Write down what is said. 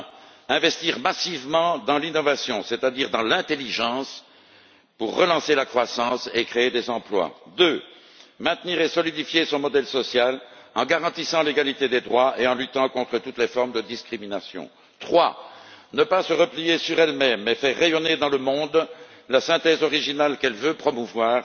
Premièrement, investir massivement dans l'innovation, c'est à dire dans l'intelligence pour relancer la croissance et créer des emplois. Deuxièmement, maintenir et renforcer son modèle social en garantissant l'égalité des droits et en luttant contre toutes les formes de discrimination. Troisièmement, ne pas se replier sur elle même mais faire rayonner dans le monde la synthèse originale qu'elle veut promouvoir